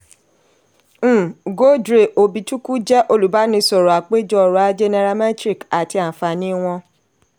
um ugodre obi-chukwu jẹ́ olùbánisọ̀rọ̀ apèjọ ọrọ̀-ajé nairametrics àti àǹfààní wọn.